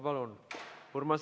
Palun!